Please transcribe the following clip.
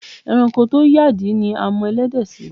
E̩ranko tó yàdí ni a mo̩ e̩lé̩dè̩ sí.